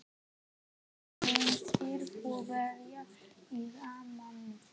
Hvern myndir þú velja í rammann?